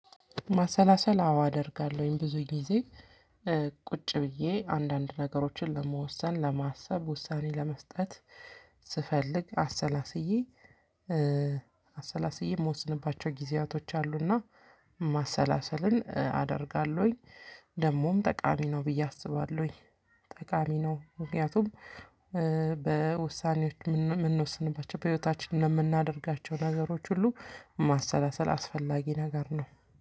ማሰላሰል አዎ አደርጋለሁኝ ብዙ ጊዜ። ቁጭ ብዬ አንዳንድ ነገሮችን ለመወሰን ለማሰብ ውሳኔ ለመስጠት ስፈልግ አሰላስዬ አሰላስዬ እምወስንባቸው ጊዜያቶች አሉና። ማሰላሰልን አደርጋለሁኝ። ደግሞም ጠቃሚ ነው ብዬ አስባለሁኝ። ጠቃሚ ነው ምክንያቱም በውሳኔዎች እምንወስንባቸው በህይወታችን እምናደርጋቸው ነገሮች ሁሉ ማሰላሰል አስፈላጊ ነገር ነው።